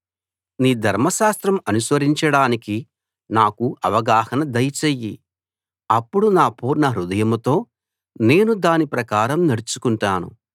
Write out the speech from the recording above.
నీ ధర్మశాస్త్రం అనుసరించడానికి నాకు అవగాహన దయచెయ్యి అప్పుడు నా పూర్ణహృదయంతో నేను దాని ప్రకారం నడుచుకుంటాను